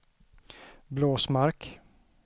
Blåsmark